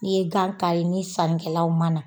N'i ye gan kari ni sannikɛlaw ma na